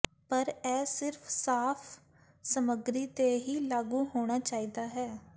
ਪਰ ਇਹ ਸਿਰਫ ਸਾਫ਼ ਸਮੱਗਰੀ ਤੇ ਹੀ ਲਾਗੂ ਹੋਣਾ ਚਾਹੀਦਾ ਹੈ